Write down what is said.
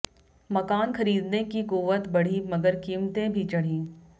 मकान खरीदने की कुव्वत बढ़ी मगर कीमतें भी चढ़ीं